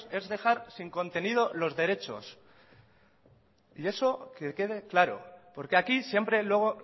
es dejar sin contenido los derechos y eso que quede claro porque aquí siempre luego